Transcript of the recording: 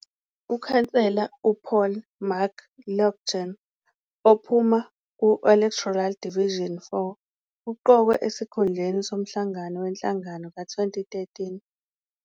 UKhansela u-Paul McLauchlin, ophuma ku-electoral Division 4, uqokwe esikhundleni somhlangano wenhlangano ka-2013.